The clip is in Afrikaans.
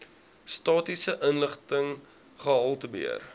statistiese inligting gehaltebeheer